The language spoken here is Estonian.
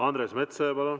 Andres Metsoja, palun!